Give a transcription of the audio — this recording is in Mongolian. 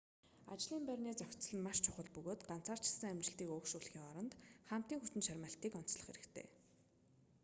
ажлын байрны зохицол нь маш чухал бөгөөд ганцаарчилсан амжилтыг өөгшүүлэхийн оронд хамтын хүчин чармайлтыг онцлох хэрэгтэй